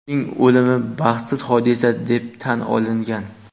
Uning o‘limi baxtsiz hodisa deb tan olingan.